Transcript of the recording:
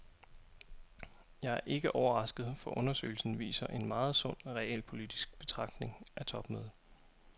Jeg er ikke overrasket, for undersøgelsen viser en meget sund, realpolitisk betragtning af topmødet.